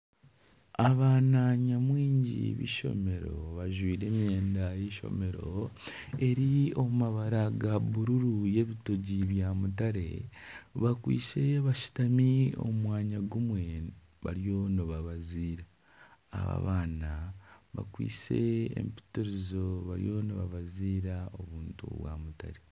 Abaana nyamwingi b'eishomero bajwire emyenda y'eishomero eri omu mabara ga bururu y'ebitogi bya mutare bakwise bashutami omu mwanya gumwe bariyo nibabaziira. Aba abaana bakwise empitirizo bariyo nibabaziira obuntu bwa mutare.